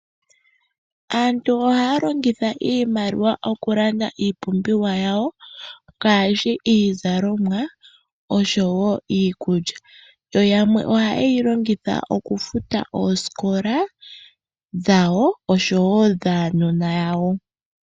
Aantu ohaya longitha iimaliwa okulanda iipumbiwa yawo ngaashi iizalomwa noshowo iikulya. Yo yamwe oheye yilongitha oku futa oosikola dhawo oshowo dhaanona yawo .